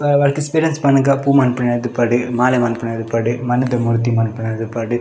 ಆ ಮಾಲೆ ಮನ್ಪುನ ಇಪ್ಪಡ್ ಮಣ್ಣುದ ಮೂರ್ತಿ ಮನ್ಪುನಾದ್ ಇಪ್ಪಡ್.